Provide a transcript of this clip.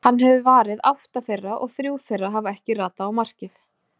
Hann hefur varið átta þeirra og þrjú þeirra hafa ekki ratað á markið.